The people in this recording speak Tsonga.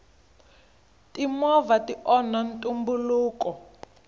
timovha ti onha ntumbuluko